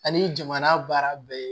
Ani jamana baara bɛɛ